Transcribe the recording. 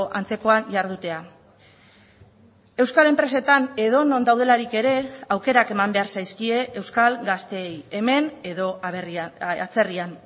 antzekoan jardutea euskal enpresetan edonon daudelarik ere aukerak eman behar zaizkie euskal gazteei hemen edo atzerrian